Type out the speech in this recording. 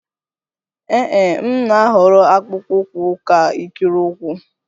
Ee e, m na-ahọrọ akpụkpọ ụkwụ ka ikiri ụkwụ